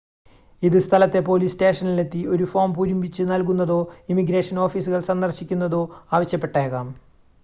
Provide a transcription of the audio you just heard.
ഇത് സ്ഥലത്തെ പോലീസ് സ്റ്റേഷനിലെത്തി ഒരു ഫോം പൂരിപ്പിച്ച് നൽകുന്നതോ ഇമിഗ്രേഷൻ ഓഫീസുകൾ സന്ദർശിക്കുന്നതോ ആവശ്യപ്പെട്ടേക്കാം